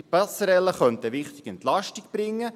Diese Passerelle könnte eine wichtige Entlastung bringen.